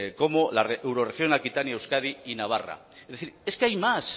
como la eurorregión aquitania euskadi y navarra es decir es que hay más